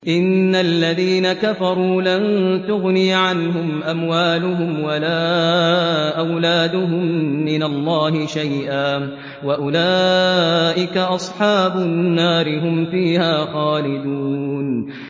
إِنَّ الَّذِينَ كَفَرُوا لَن تُغْنِيَ عَنْهُمْ أَمْوَالُهُمْ وَلَا أَوْلَادُهُم مِّنَ اللَّهِ شَيْئًا ۖ وَأُولَٰئِكَ أَصْحَابُ النَّارِ ۚ هُمْ فِيهَا خَالِدُونَ